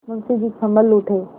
मुंशी जी सँभल उठे